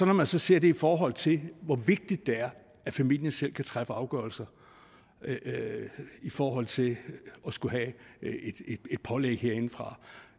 man så ser det i forhold til hvor vigtigt det er at familien selv kan træffe afgørelser i forhold til at skulle have et pålæg herindefra